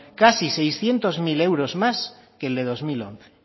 casi seiscientos mil euros más que el de dos mil once